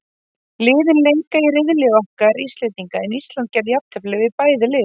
Liðin leika í riðli okkar Íslendinga, en Ísland gerði jafntefli við bæði lið.